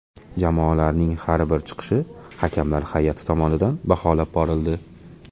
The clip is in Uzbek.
Jamoalarning har bir chiqishi hakamlar hay’ati tomonidan baholab borildi.